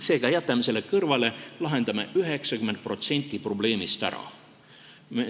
Seega, jätame selle kõrvale, lahendame 90% probleemist ära.